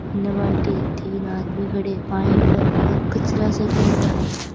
बाल्टी तीन आदमी खड्या है और कचरा सा --